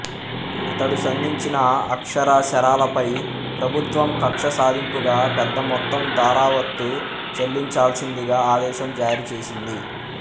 ఇతడు సంధించిన అక్షరశరాలపై ప్రభుత్వం కక్షసాధింపుగా పెద్దమొత్తం ధరావత్తు చెల్లించాల్సిందిగా ఆదేశం జారీచేసింది